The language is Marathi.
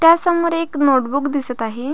त्या समोर एक नोट बूक दिसत आहे.